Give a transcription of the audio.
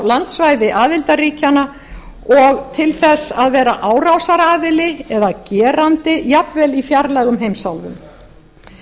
landsvæði aðildarríkjanna og til þess að vera árásaraðili eða gerandi jafnvel í fjarlægum heimsálfum